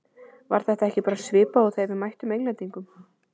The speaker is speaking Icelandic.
Var þetta ekki bara svipað og þegar við mættum Englendingunum?